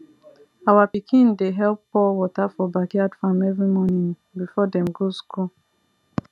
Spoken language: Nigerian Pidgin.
our pikin dey help pour water for backyard farm every morning before dem go school